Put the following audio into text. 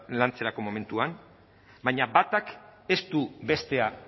lantzerako momentuan baina batak ez du bestea